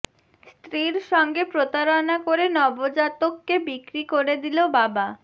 স্ত্রীর সঙ্গে প্রতারণা করে নবজাতককে বিক্রি করে দিল বাবা